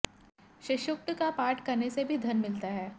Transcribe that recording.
श्रीसूक्त का पाठ करने से भी धन मिलता है